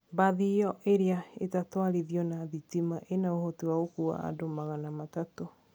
Bathi iyo iria itatwarithio na thitima ina ũhoti wa gũkua andũ magana matatũ.